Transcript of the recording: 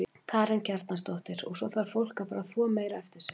Karen Kjartansdóttir: Og svo þarf fólk að fara að þvo meira eftir sig?